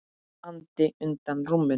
andi undan rúminu.